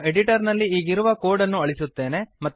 ನಾನು ಎಡಿಟರ್ ನಲ್ಲಿ ಈಗಿರುವ ಕೋಡ್ ಅನ್ನು ಅಳಿಸುತ್ತೇನೆ